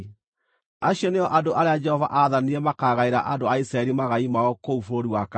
Acio nĩo andũ arĩa Jehova aathanire makaagaĩra andũ a Isiraeli magai mao kũu bũrũri wa Kaanani.